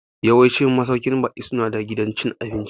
Yawancin masauƙin baƙi su na da gidan cin abinci